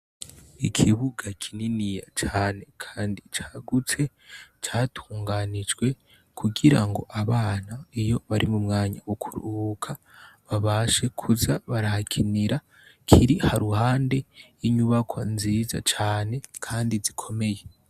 Ikibuga kininiya cane, kandi cagutse catunganijwe kugira ngo abana iyo bari mu mwanya gukuruhuka babashe kuza barahakinira kiri ha ruhande inyubako nziza cane, kandi zikomeye.